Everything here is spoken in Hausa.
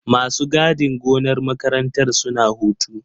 Masu gadin gonar makarantar suna hutu.